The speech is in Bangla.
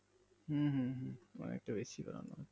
হম হম হম অনেকটা বেশি বাড়ানো হচ্ছে